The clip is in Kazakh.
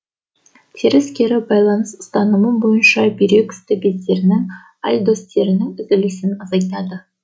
теріс кері байланыс ұстанымы бойынша бүйрек үсті бездерінің альдостеронның түзілісін азайтады